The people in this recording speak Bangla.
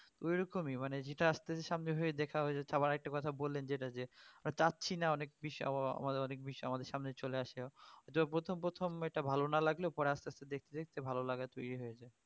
ওইরকমই মানে যেটা আসতেছে সামনে ওইভাবেই দেখা হয়ে যাচ্ছে আবার একটা কথা বললেন যে আমরা চাচ্ছিনা অনেক বিষয় ~অনেক বিষয় আমাদের সামনে চলে আসছে প্রথম প্রথম এটা ভালো না লাগলেও পরে আসতে আসতে দেখতে দেখতে ভালো লাগা তরি হয়ে যায়